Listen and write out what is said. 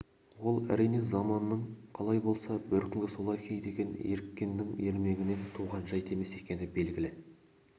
ол әрине заманың қалай болса бөркіңді солай ки деген еріккеннің ермегінен туған жайт емес екені белгілі